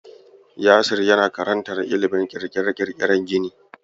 Yasir yana karantar ilimin ƙirƙire-ƙirƙiren gini.